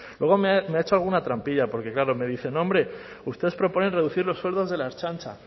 luego me ha hecho alguna trampilla porque claro me dice no hombre ustedes proponen reducir los sueldos de la ertzaintza